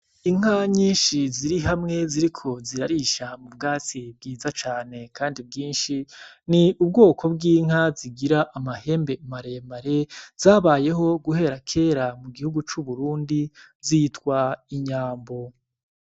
Inka nyinshi zirihamwe ziriko zirarisha m'ubwatsi bwiza cane kandi bwinshi, ni ubwoko bw'inka zigira amahembe maremare zabayeho guhera kera mu gihugu cu Burundi zitwa inyambo.